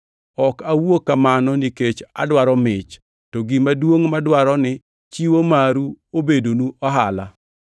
Ok awuo kamano nikech adwaro mich, to gima duongʼ madwaro ni chiwo maru obednu ohala.